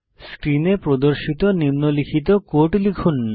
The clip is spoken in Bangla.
স্ক্রিনে প্রদর্শিত নিম্নলিখিত কোড লিখুন